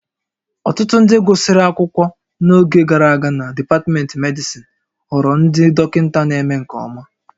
Ọtụtụ ndị gụsịrị akwụkwọ n'oge gara aga na dipatmentị medịsịn ghọrọ ndị dọkịta na-eme nke ọma